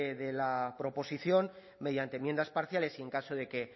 de la proposición mediante enmiendas parciales y en caso de que